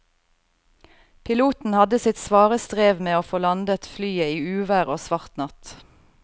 Piloten hadde sitt svare strev med å få landet flyet i uvær og svart natt.